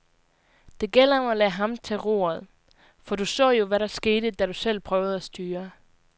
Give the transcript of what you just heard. Det gælder om at lade ham tage roret, for du så jo, hvad der skete, da du selv prøvede at styre.